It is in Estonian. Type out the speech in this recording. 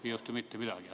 Ei juhtu mitte midagi.